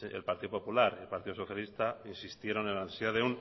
el partido popular y el partido socialista insistieron en la necesidad